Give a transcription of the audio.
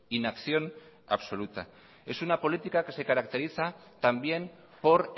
inacción absoluta es una política que se caracteriza también por